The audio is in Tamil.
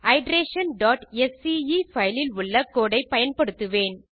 iterationஸ்கே பைல் இல் உள்ள கோடு ஐ பயன்படுத்துவேன்